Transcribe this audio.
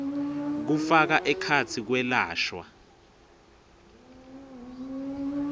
kufaka ekhatsi kwelashwa